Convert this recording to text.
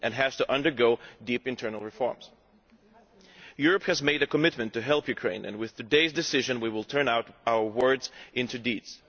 and it has to undergo deep internal reforms. Europe has made a commitment to help Ukraine and with today's decision we will turn our words into deeds.